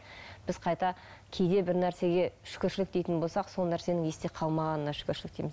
біз қайта кейде бір нәрсеге шүкіршілік дейтін болсақ сол нәрсенің есте қалмағанына шүкіршілік дейміз